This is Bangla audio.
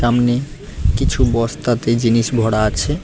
সামনে কিছু বস্তাতে জিনিস ভরা আছে।